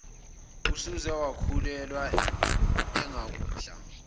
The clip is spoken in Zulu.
usuze wakhulelwa engakudla